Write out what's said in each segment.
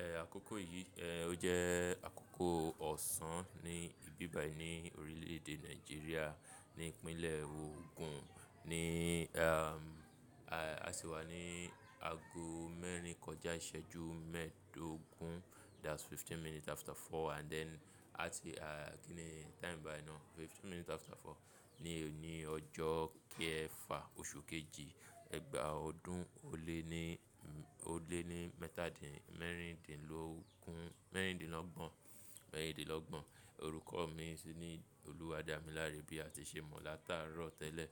Ẹ àkókò yìí, ẹ ó jẹ́ àkókò ọ̀sán ní ìbíbai ní orílè èdè Nàìjíríà ní ìpínlẹ̀ Ogun ní am, a sì wà ní ago mẹ́rin kọjá ìṣẹ́jú mẹ́ẹ̀dógún. That's fifteen minutes after four and then a ti a kí ni time by now? Fifteen minutes after four ní òní ọjọ́ kẹfà oṣù kejì ẹgbàá ọdún ó lé ní, ó lé ní mẹ́rindínlọ́gbọ̀n. Orúkọ mi ni Olúwadámiláré bí a ti ṣe mọ̀ látàárọ̀ tẹ́lẹ̀.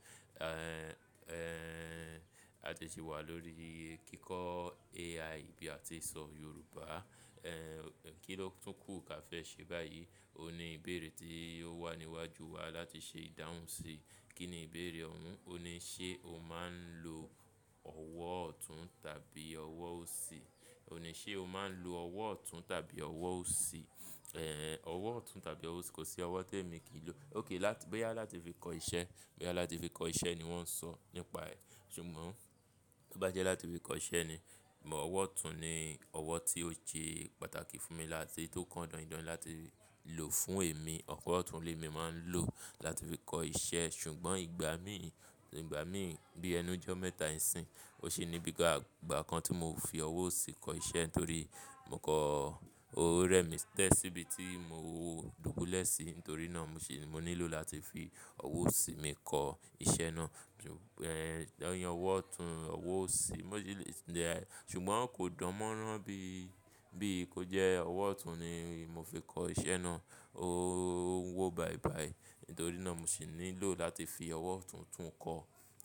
Ehn, ehn a ti ṣe wà lórí kíkọ́ AI bí a ti sọ Yorùbá. Ehn kí ló tún kù kà fẹ́ ṣe báyìí? Ó ní ìbéèrè tí ó wà níwájú wa láti ṣe ìdáhùn sí. Kí ni ìbéèrè ọ̀ún? Ó ní ṣe o máa ń lo ọwọ́ ọ̀tún tàbí ọwọ́ òsì? Ó ní ṣe o máa ń lo ọwọ́ ọ̀tún tàbí ọwọ́ òsì? Ehn ọwọ́ ọ̀tún tàbí ọwọ́ òsì, kò sí ọwọ́ tí èmi kì í lò. Okay láti, bóyá láti fi kọ iṣẹ́, bóyá láti fi kọ iṣẹ́ ni wọ́n sọ nípa ẹ̀. Ṣùgbọ́n bó bá jẹ́ láti fi kọ iṣẹ́ ni, bí ọwọ́ ọ̀tún ni ọwọ́ tí ó ṣe pàtàkì fún mi láti tó kọń dọ̀ìn ń dọ̀ìn láti lò fún èmi. Ọwọ́ ọ̀tún ni mí máa ń lò láti fi kọ iṣẹ́. Ṣùgbọ́n ìgbà mí, ìgbà mí bí ẹnu jọ́ mẹ́ta ìsín, o ṣe níbi gbogbo ìgbà kan tí mo fi ọwọ́ òsì kọ iṣẹ́ nítorí mo kọ orúkọ rẹ mi tẹ́ síbi tí mo dúbú lẹ́ sìí. Nítorí náà mo sì ní lò láti fi ọwọ́ òsì mi kọ iṣẹ́ náà. Ṣùgbọ́n, ehn lẹ́yìn ọwọ́ ọ̀tún, ọwọ́ òsì, mo sì le-- ṣùgbọ́n kò dánmọ́rán bí, bí i kó jẹ́ ọwọ́ ọ̀tún ni mo fi kọ iṣẹ́ náà. Ó ń wọ́ bàìbàì. Nítorí náà mo sì ní lò láti fi ọwọ́ ọ̀tún tún kọ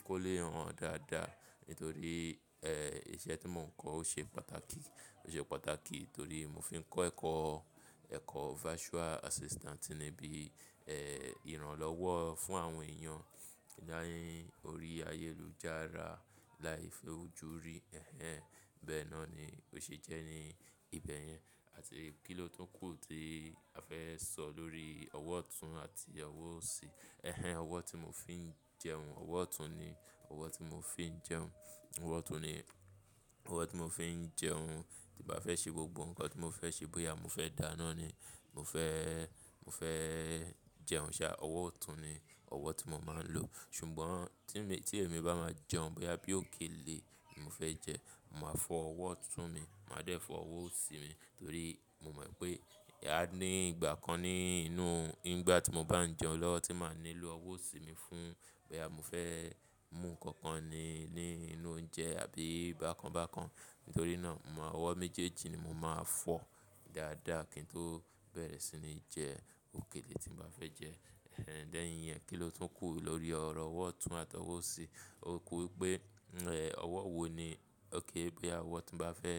kó lè hàn dáadáa. Nítorí eh iṣẹ́ tí mò ń kọ ó ṣe pàtàkì, ó ṣe pàtàkì torí mo fi ń kọ́ ẹ̀kọ́, ẹ̀kọ́ virtual assistant ni bí eh ìrànlọ́wọ́ fún àwọn èèyàn láì orí ayélujára, láì fi ojú rí. Ehn bẹ́ẹ̀ náà ni ó ṣe jẹ́ ní ibẹ̀ yẹn. Àti kí ló tún kù tí a fẹ́ sọ lórí ọwọ́ ọ̀tún àti ọwọ́ òsì? Ehn ọwọ́ tí mò ń fi ń jẹun, ọwọ́ ọ̀tún ni ọwọ́ tí mò ń fi ń jẹun. Ọwọ́ ọ̀tún ni ọwọ́ tí mò ń fi ń jẹun tí bá fẹ́ ṣe gbogbo nǹkan tí mo fẹ́ ṣe. Bóyá mo fẹ́ dáná ni, mo fẹ́, mo fẹ́ jẹun ṣá, ọwọ́ ọ̀tún ni ọwọ́ tí mo máa ń lò. Ṣùgbọ́n tí èmi bá máa jẹun, bóyá bí òkèlè ni mo fẹ́ jẹ́, màá fọ ọwọ́ ọ̀tún mi, màá dẹ̀ fọ ọwọ́ òsì mi torí mo mọ̀ pé à ní ìgbà kan ní inú, nígbà tí mo bá ń jẹun lọ́wọ́ tí màá nílò ọwọ́ òsì mi fún bóyá mo fẹ́ mú nǹkan kan ni ní inú oúnjẹ àbí bákan bákan. Nítorí náà, ọwọ́ méjèèjì ni mo máa fọ dáadáa kí n tó bẹ̀rẹ̀ sí ní jẹ òkèlè tí mo bá fẹ́ jẹ́. Ehn lẹ́yìn rẹ kí ló tún kù lórí ọ̀rọ̀ ọwọ́ ọ̀tún àti ọwọ́ òsì? Ó kú wípé eh ọwọ́ wo ni ó ké bóyá ọwọ́ tí ń bá fẹ́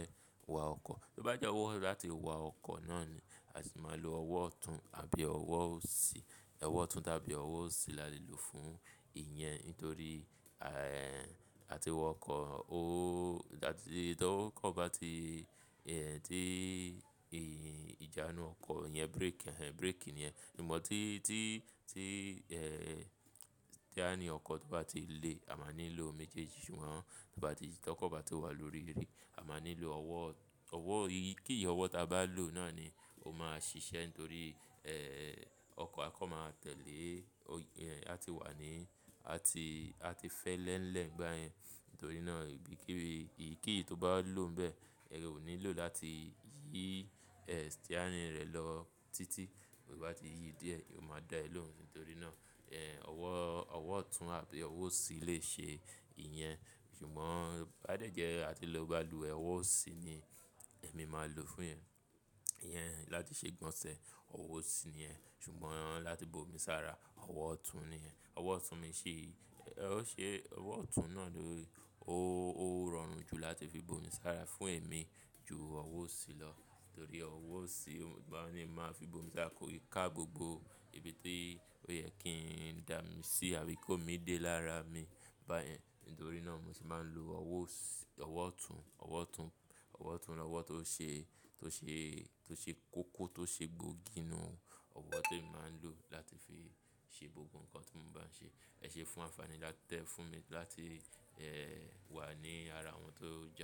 wa ọkọ̀. Bó bá jẹ́ ọwọ́ láti wa ọkọ̀ náà ni, a sì máa lo ọwọ́ ọ̀tún àbí ọwọ́ òsì. Ọwọ́ ọ̀tún tàbí ọwọ́ òsì la lè lò fún ìyẹn nítorí eh àti wọ ọkọ̀, ó dá, tí ọkọ̀ bá ti eh dé ìjánu ọkọ̀, ìyẹn brake, ehn brake ni ẹ. Ìmọ̀ tí, tí, tí eh steering ọkọ̀ tó bá ti le, a máa nílò méjèèjì. Ṣùgbọ́n tí ọkọ̀ bá tó wà lórí eré, a máa nílò ọwọ́, ọwọ́ iyìí, kí yìí ọwọ́ ta bá lò náà ni ó máa ṣiṣẹ́ nítorí eh ọkọ̀ akọ́ máa tẹ̀lé. Ó yẹn a ti wà ní, a ti, a ti fẹ́ lẹ́n lẹ̀ nígbà yẹn. Nítorí náà ìbí kí ìyì kí yìí tó bá lò n bẹ́ẹ̀, ẹ ò nílò láti yí eh steering rẹ̀ lọ títí. Bí ó bá ti yí díẹ̀, ó máa dá ẹ lóhùn. Nítorí náà eh ọwọ́, ọwọ́ ọ̀tún àbí ọwọ́ òsì le ṣe ìyẹn. Ṣùgbọ́n bá dẹ́jẹ́ a ti lò balùwẹ̀, ọwọ́ òsì ni èmi máa lò fún ìyẹn, ìyẹn láti ṣe ìgbọ̀nsẹ̀, ọwọ́ òsì ni ẹ. Ṣùgbọ́n láti bo mi sára, ọwọ́ ọ̀tún ni yẹn. Ọwọ́ ọ̀tún mi ṣe, ó ṣe, ọwọ́ ọ̀tún náà ló, ó, ó rọrùn jù láti fi bo mi sára fún èmi ju ọwọ́ òsì lọ. Nítorí ọwọ́ òsì, ìgbà wo ni màá fi bo mi sára? Kò lè ká gbogbo ibi tó yẹ kí n dà mí sí àbí kó mi dé lára mi báyẹn. Nítorí náà mo ṣe máa ń lo ọwọ́ ọ̀sì, ọwọ́ ọ̀tún, ọwọ́ ọ̀tún, ọwọ́ ọ̀tún ni ọwọ́ tó ṣe, tó ṣe, tó ṣe kókó, tó ṣe gbóògì inú. Ọwọ́ tí èmi máa ń lò láti fi ṣe gbogbo nǹkan tí mò ń bá ń ṣe. Ẹ̀ ṣe fún àǹfààní lá tẹ́ fún mi láti eh wà ní ara àwọn tó jà.